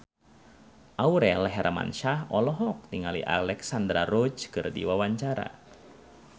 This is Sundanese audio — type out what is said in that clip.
Aurel Hermansyah olohok ningali Alexandra Roach keur diwawancara